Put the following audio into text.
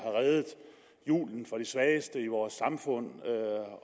reddet julen for de svageste i vores samfund